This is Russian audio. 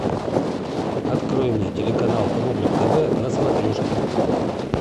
открой мне телеканал рубль тв на смотрешке